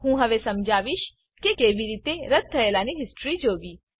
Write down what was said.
હું હવે સમજાવીશ કે કેવી રીતે રદ્દ થયેલાની હિસ્ટ્રી જોવી